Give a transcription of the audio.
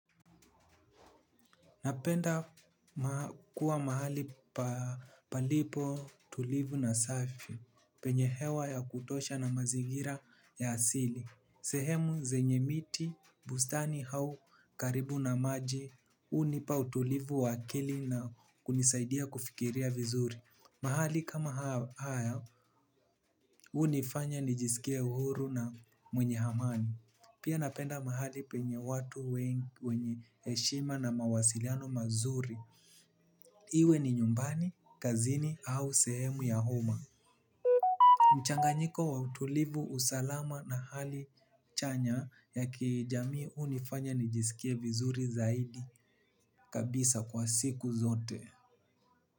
Napenda kuwa mahali palipo tulivu na safi penye hewa ya kutosha na mazingira ya asili. Sehemu zenye miti bustani au karibu na maji hunipa utulivu wa akili na kunisaidia kufikiria vizuri. Mahali kama haya hunifanya nijisikie uhuru na mwenye amani. Pia napenda mahali penye watu wengi wenye heshima na mawasiliano mazuri. Iwe ni nyumbani, kazini au sehemu ya umma. Mchanganyiko wa utulivu usalama na hali chanya ya kijamii hunifanya nijisikie vizuri zaidi kabisa kwa siku zote.